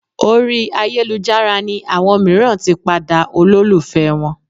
Orí ayélujára ni àwọn mìíràn tí padà olólùfẹ́ wọn